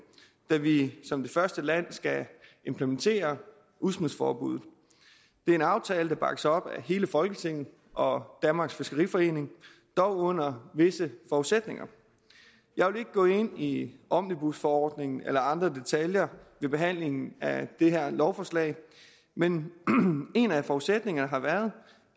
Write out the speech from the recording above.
da vi som det første land skal implementere udsmidsforbuddet det er en aftale der bakkes op af hele folketinget og danmarks fiskeriforening dog under visse forudsætninger jeg vil ikke gå ind i omnibusforordningen eller andre detaljer ved behandlingen af det her lovforslag men en af forudsætningerne har været